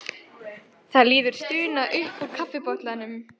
Það líður stuna upp úr kaffibollanum.